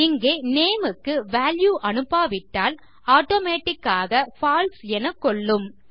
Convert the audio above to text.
இங்கே நேம் க்கு வால்யூ அனுப்பாவிட்டால் ஆட்டோமேட்டிக் ஆக பால்சே என கொள்ளும்